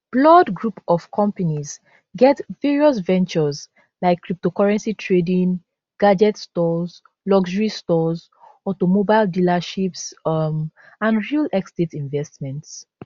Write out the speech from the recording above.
blord group of companies get various ventures like cryptocurrency trading gadget stores luxury stores automobile dealerships um and real estate investments